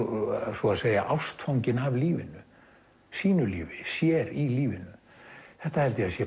svo að segja ástfanginn af lífinu sínu lífi sér í lífinu þetta held ég að sé